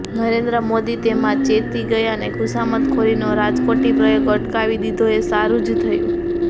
નરેન્દ્ર મોદી તેમાં ચેતી ગયા અને ખુશામતખોરીનો રાજકોટી પ્રયોગ અટકાવી દીધો એ સારું જ થયું